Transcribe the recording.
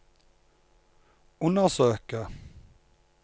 undersøke